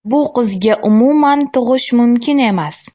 Bu qizga umuman tug‘ish mumkin emas.